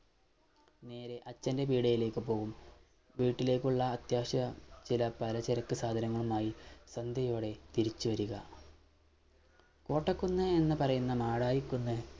നേരെ അച്ഛൻറെ പീടിയേലേക്ക് പോകും വീട്ടിലേക്കുള്ള അത്യാവശ്യ ചെല പലചരക്ക് സാധനങ്ങളുമായി സന്ധ്യയോടെ തിരിച്ചുവരിക കോട്ടക്കുന്ന് എന്ന് പറയുന്ന മാടായി കുന്ന്